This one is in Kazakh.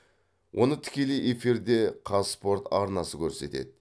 оны тікелей эфирде қазспорт арнасы көрсетеді